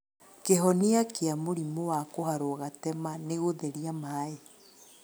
Kĩhonia gĩa mũrimũ wa kũharwo gatema nĩ gũtheria maĩ